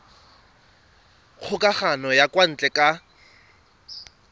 kgokagano ya kwa ntle ka